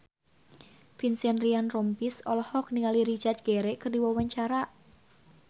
Vincent Ryan Rompies olohok ningali Richard Gere keur diwawancara